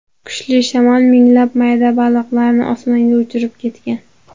Kuchli shamol minglab mayda baliqlarni osmonga uchirib ketgan.